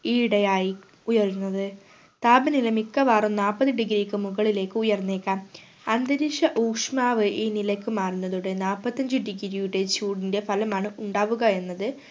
ഈ ഇടെയായി ഉയരുന്നത് താപനില മിക്കവാറും നാപത് degree ക് മുകളിലേക്കു ഉയർന്നേക്കാം അന്തരിക്ഷ ഊഷ്മാവ് ഈ നിലയ്ക് മാറുന്നതോടെ നാപ്പത്തഞ്ച് degree യുടെ ചൂടിൻറെ ഫലമാണ്‌ ഉണ്ടാവുക എന്നത്